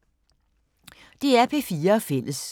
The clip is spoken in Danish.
DR P4 Fælles